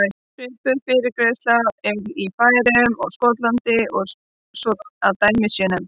Svipuð fyrirgreiðsla er í Færeyjum og Skotlandi svo að dæmi séu nefnd.